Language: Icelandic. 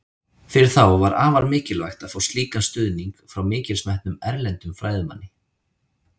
Fyrir þá var afar mikilvægt að fá slíkan stuðning frá mikils metnum, erlendum fræðimanni.